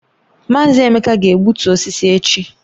Mazi Emeka ga-egbutu osisi echi